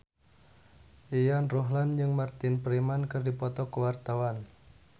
Yayan Ruhlan jeung Martin Freeman keur dipoto ku wartawan